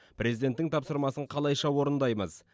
президенттің тапсырмасын қалайша орындаймыз